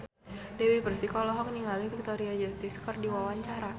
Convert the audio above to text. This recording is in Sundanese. Dewi Persik olohok ningali Victoria Justice keur diwawancara